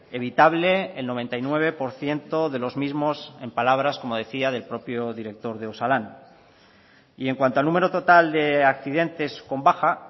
evitable el noventa y nueve por ciento de los mismos en palabras como decía del propio director de osalan y en cuanto al número total de accidentes con baja